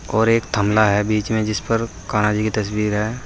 और एक थमला है बीच में जिस पर कान्हा जी की तस्वीर है।